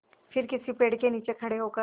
फिर किसी पेड़ के नीचे खड़े होकर